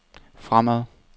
fremad